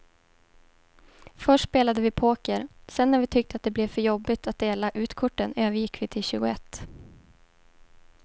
Först spelade vi poker, sedan när vi tyckte att det blev för jobbigt att dela ut korten övergick vi till tjugoett.